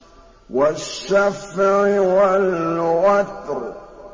وَالشَّفْعِ وَالْوَتْرِ